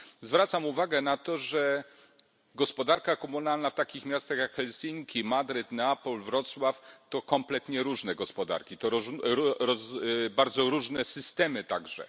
Zwracam uwagę na to, że gospodarka komunalna w takich miastach jak Helsinki, Madryt, Neapol, Wrocław to kompletnie różne gospodarki, to bardzo różne systemy także.